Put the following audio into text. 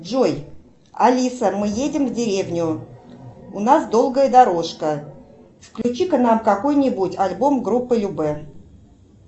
джой алиса мы едем в деревню у нас долгая дорожка включи ка нам какой нибудь альбом группы любэ